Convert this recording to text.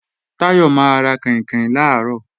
Táyọ̀ máa ra kàìnkàìn làárọ̀